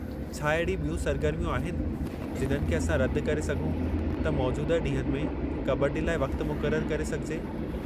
छा अहिड़ी ॿियूं सरगर्मियूं आहिनि जिन्हनि खे असां रदि करे सघूं त मौजूदह ॾींहनि में कबड्डी लाइ वक़्तु मुक़ररु करे सघिजे।